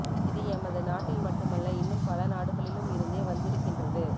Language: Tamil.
இது எமது நாட்டில் மட்டுமல்ல இன்னும் பல நாடுகளிலும் இருந்தே வந்திருக்கின்றது